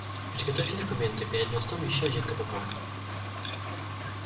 приготовьте документы перед мостом ещё один кпп